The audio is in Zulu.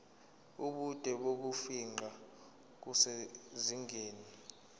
ubude bokufingqa kusezingeni